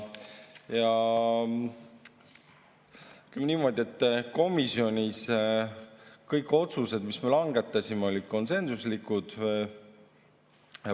Ütleme niimoodi, et komisjonis kõik otsused, mis me langetasime, olid konsensuslikud.